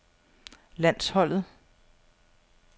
landsholdet